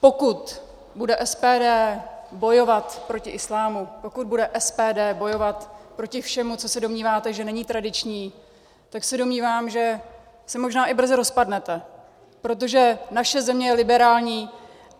Pokud bude SPD bojovat proti islámu, pokud bude SPD bojovat proti všemu, co se domníváte, že není tradiční, tak se domnívám, že se možná i brzo rozpadnete, protože naše země je liberální.